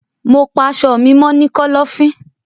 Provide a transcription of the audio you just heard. Mo pa aṣọ mi mọ ni kọlọfin.